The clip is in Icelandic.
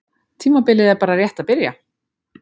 Tímabilið er bara rétt að byrja.